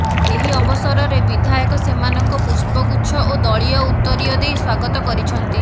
ଏହି ଅବସରରେ ବିଧାୟକ ସେମାନଙ୍କ ପୁଷ୍ପ ଗୁଚ୍ଛ ଓ ଦଳୀୟ ଉତରୀୟ ଦେଇ ସ୍ୱାଗତ କରିଛନ୍ତି